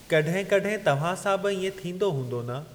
कड॒हिं कड॒हिं तव्हां सां बि इएं थींदो हूंदो न?